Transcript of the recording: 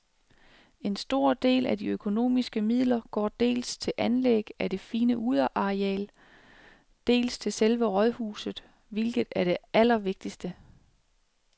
En stor del af de økonomiske midler går dels til anlæg af det fine udeareal, dels til selve rådhuset, hvilket er det allervigtigste.